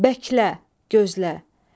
Bəklə, gözlə.